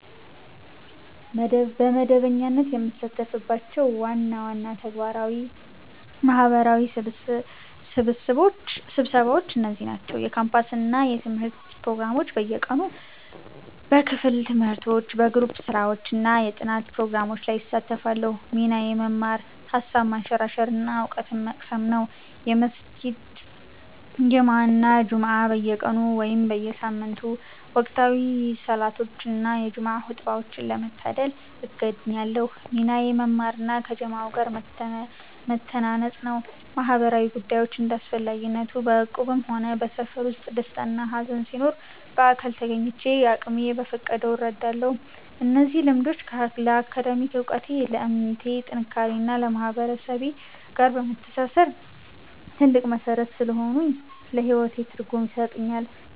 በመደበኛነት የምሳተፍባቸው ዋና ዋና ማህበራዊ ስብሰባዎች እነዚህ ናቸው፦ የካምፓስ እና የትምህርት ፕሮግራሞች (በየቀኑ)፦ በክፍል ትምህርቶች፣ በግሩፕ ስራዎች እና የጥናት ፕሮግራሞች ላይ እሳተፋለሁ። ሚናዬ መማር፣ ሃሳብ ማንሸራሸር እና እውቀት መቅሰም ነው። የመስጊድ ጀማዓ እና ጁምዓ (በየቀኑ/በየሳምንቱ)፦ ወቅታዊ ሰላቶችን እና የጁምዓ ኹጥባን ለመታደም እገኛለሁ። ሚናዬ መማር እና ከጀማዓው ጋር መተናነጽ ነው። ማህበራዊ ጉዳዮች (እንደ አስፈላጊነቱ)፦ በእቁብም ሆነ በሰፈር ውስጥ ደስታና ሃዘን ሲኖር በአካል ተገኝቼ አቅሜ በፈቀደው እረዳለሁ። እነዚህ ልምዶች ለአካዳሚክ እውቀቴ፣ ለእምነቴ ጥንካሬ እና ከማህበረሰቤ ጋር ለመተሳሰር ትልቅ መሠረት ስለሆኑኝ ለህይወቴ ትርጉም ይሰጡኛል።